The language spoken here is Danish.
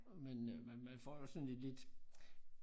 Men øh man man får jo sådan et lidt